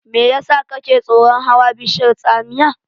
Me yasa kake tsoron hawa bishiyar tsamiya?